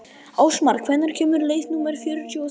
Ástmar, hvenær kemur leið númer fjörutíu og þrjú?